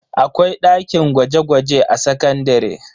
Akwai dakin gwaje-gwaje a sakandare.